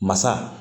Masa